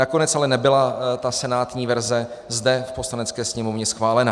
Nakonec ale nebyla ta senátní verze zde v Poslanecké sněmovně schválena.